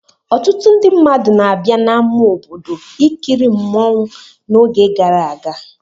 Ọtụtụ ndị mmadụ na-abịa n'ama obodo ikiri mmọnwụ n'oge gara aga.